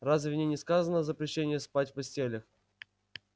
разве в ней не сказано о запрещении спать в постелях